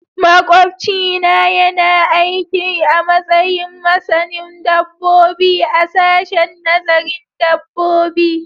Makwabcina yana aiki a matsayin masanin dabbobi a sashen nazarin dabbobi